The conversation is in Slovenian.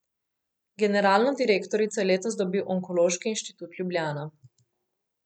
Generalno direktorico je letos dobil Onkološki inštitut Ljubljana.